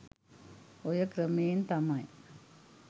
ඔය ක්‍රමයෙන් තමයි